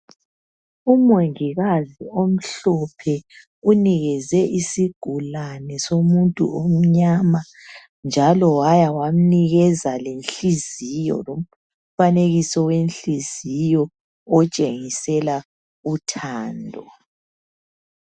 Umongikazi omhlophe unikeze isigulane somuntu omnyama njalo waya wamnikeza lenhiziyo lomfanekiso wehliziyo otshengisela uthando.